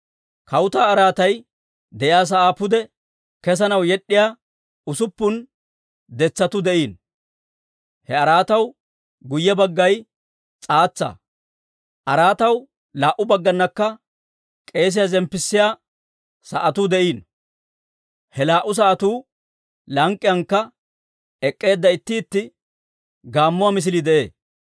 Kawutaa araatay de'iyaa sa'aa pude kesanaw yed'd'iyaa usuppun detsatuu de'iino. He araataw guyye baggay s'aatsaa. Araataw laa"u baggaanakka k'esiyaa zemppissiyaa sa'atuu de'iino; he laa"u sa'atuu lank'k'iyankka ek'k'eedda itti itti gaammuwaa misilii de'ee.